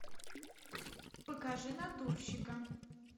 покажи натурщика